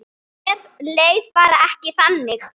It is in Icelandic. Mér leið bara ekki þannig.